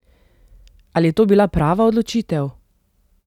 Ali je to bila prava odločitev?